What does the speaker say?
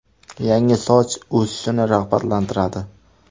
Yangi soch o‘sishini rag‘batlantiradi.